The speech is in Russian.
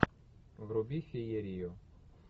вруби феерию